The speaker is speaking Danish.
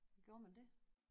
Gjorde man det?